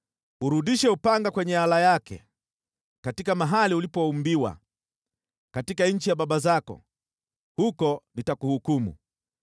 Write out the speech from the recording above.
Urudishe upanga kwenye ala yake! Katika mahali ulipoumbiwa, katika nchi ya baba zako, huko nitakuhukumu.